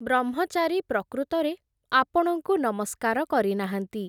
ବ୍ରହ୍ମଚାରୀ ପ୍ରକୃତରେ ଆପଣଙ୍କୁ ନମସ୍କାର କରିନାହାନ୍ତି ।